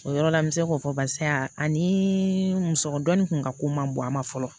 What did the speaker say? O yɔrɔ la n bɛ se k'o fɔ barisa ani musɔrɔ dɔ nin kun ka ko man bon a ma fɔlɔ